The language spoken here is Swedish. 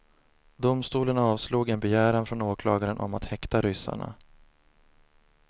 Domstolen avslog en begäran från åklagaren om att häkta ryssarna.